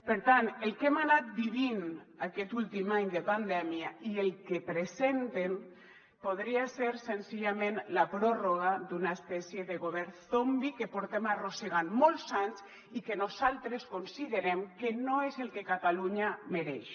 per tant el que hem anat vivint aquest últim any de pandèmia i el que presenten podria ser senzillament la pròrroga d’una espècie de govern zombi que portem arrossegant molts anys i que nosaltres considerem que no és el que catalunya mereix